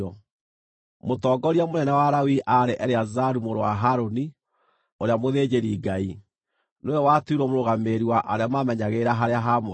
Mũtongoria mũnene wa Alawii aarĩ Eleazaru mũrũ wa Harũni, ũrĩa mũthĩnjĩri-Ngai. Nĩwe watuirwo mũrũgamĩrĩri wa arĩa maamenyagĩrĩra harĩa haamũre.